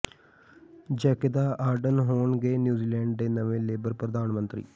Jacinda Ardern ਹੋਣਗੇ New Zealand ਦੇ ਨਵੇਂ ਲੇਬਰ ਪ੍ਰਧਾਨ ਮੰਤਰੀ